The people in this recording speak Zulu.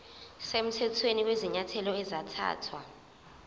semthethweni kwezinyathelo ezathathwa